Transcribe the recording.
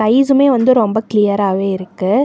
Sky சுமே வந்து ரொம்ப கிளியரா வே இருக்கு.